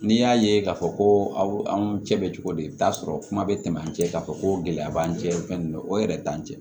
N'i y'a ye k'a fɔ ko anw cɛ bɛ cogo di i bɛ taa sɔrɔ kuma bɛ tɛmɛ an cɛ k'a fɔ ko gɛlɛya b'an cɛ fɛn ninnu o yɛrɛ t'an cɛ